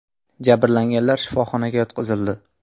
Jabrlanganlar shifoxonaga yotqizildi.